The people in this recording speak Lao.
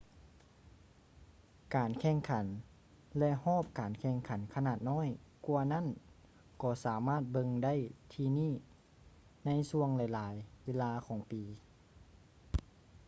ການແຂ່ງຂັນ ແລະ ຮອບການແຂ່ງຂັນຂະໜາດນ້ອຍກວ່ານັ້ນກໍສາມາດເບິ່ງໄດ້ທີ່ນີ້ໃນຊ່ວງຫຼາຍໆເວລາຂອງປີ